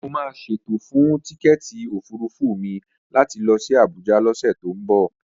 Mo máa ṣètò fún tíkẹ́èti òfurufú mi láti lọ sí Abuja lọ́sẹ̀ tó ń bọ̀